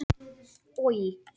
Finngeir, spilaðu lag.